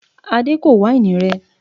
Adé kò wáìnì rẹ